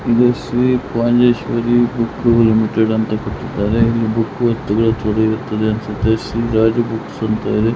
ಇಲ್ಲಿ Shri Rajeshwari book limited ಅಂತ ಕೊಟ್ಟಿದಾರೆ ಇಲ್ಲಿ ಬುಕ್ ತಗೋಳ್ಳೋಕೆ ಅನ್ಸುತ್ತೆ ಶ್ರೀ ರಾಜ ಬುಕ್ಸ್ ಅಂತ ಇದೆ.